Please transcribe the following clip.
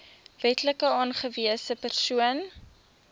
wetlik aangewese persoon